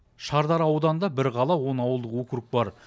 шардара ауданында бір қала он ауылдық округ бар